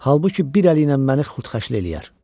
Halbuki bir əli ilə məni xurdxəşləyər.